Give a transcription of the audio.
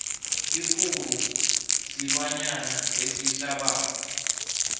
ikguru silwanyana esihlabako